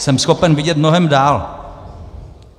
Jsem schopen vidět mnohem dál.